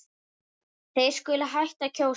Þeir skuli hætta að kjósa.